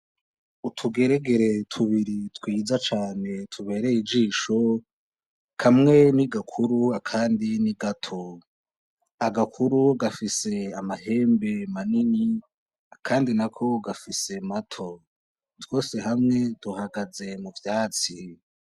Utugeregere tubiri twiza cane tubereye ijisho kamwe n'igakuru akandi n'igato, Agakuru gafise amahembe manini akandi nako gafise mato twose hamwe duhagaze mu vyatsi.